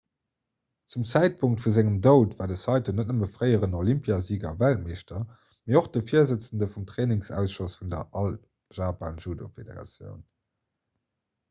zum zäitpunkt vu sengem doud war de saito net nëmme fréieren olympiasiger a weltmeeschter mee och de virsëtzende vum trainingsausschoss vun der all japan judo federation